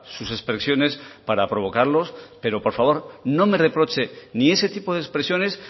sus expresiones para provocarlos pero por favor no me reproche ni ese tipo de expresiones